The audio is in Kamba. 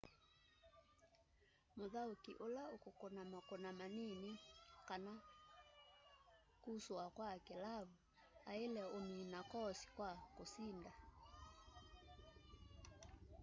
mûthaûki ula ukûkûna makûna manini kana kûsûa kwa kilavu aile umina koosi kwa kusinda